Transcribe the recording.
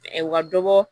U ka dɔ bɔ